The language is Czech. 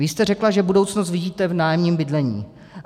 Vy jste řekla, že budoucnost vidíte v nájemním bydlení.